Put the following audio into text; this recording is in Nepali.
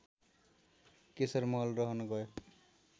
केशरमहल रहन गयो